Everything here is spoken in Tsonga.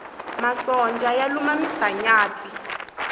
masonja ya luma misanyatsi